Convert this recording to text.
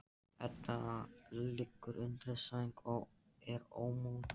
Edda liggur undir sæng og er ómótt.